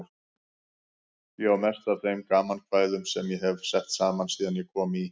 Ég á mest af þeim gamankvæðum sem ég hef sett saman síðan ég kom í